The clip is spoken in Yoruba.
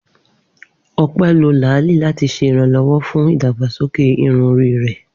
Ope lo laali lati ṣe iranlọwọ fun idagbasoke irun ori rẹ.